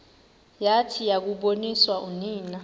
yathi yakuboniswa unina